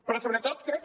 però sobretot crec que